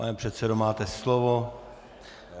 Pane předsedo, máte slovo.